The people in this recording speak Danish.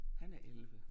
Han er 11